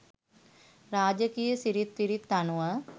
රාජකීය සිිරිත් විරිත් අනුව